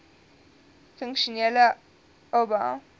funksionele oba